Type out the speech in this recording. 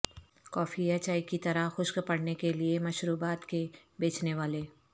کافی یا چائے کی طرح خشک پڑھنے کے لئے مشروبات کے بیچنے والے